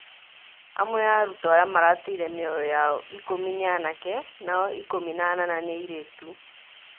Amwe a arutwo arĩa marateire mĩoyo yao ikumi ni anake nao ikumi na anana nĩ aĩrĩtũ